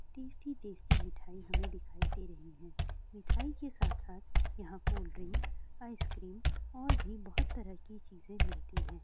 Tasty tasty मिठाई हमें दिखाई दे रही हैं। मिठाई के साथ-साथ यहाँ कोल्ड ड्रिंक्स आइस्क्रीम और भी बहुत तरह की चीजें मिलती हैं।